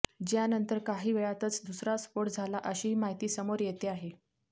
ज्यानंतर काही वेळातच दुसरा स्फोट झाला अशीही माहिती समोर येते आहे